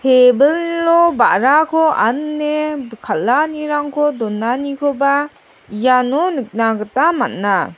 tebilo ba·rako ane kal·anirangko donanikoba iano nikna gita man·a.